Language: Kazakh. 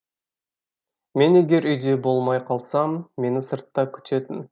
мен егер үйде болмай қалсам мені сыртта күтетін